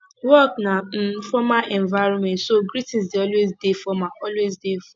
work na um formal environment so greeting dey always dey formal always dey formal